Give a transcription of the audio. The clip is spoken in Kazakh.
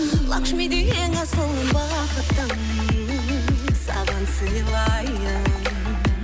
лакшмидей ең асылын бақыттың саған сыйлайын